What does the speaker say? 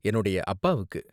என்னோட அப்பாவுக்கு.